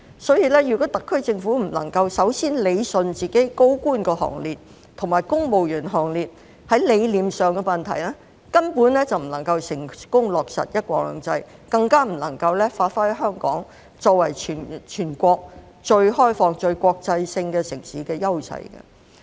所以，如果特區政府不能夠首先理順自己的高官行列和公務員行列在理念上的問題，根本不能夠成功落實"一國兩制"，更不能夠發揮香港作為全國最開放、最國際化城市的優勢。